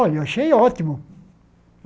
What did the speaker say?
Olha, eu achei ótimo.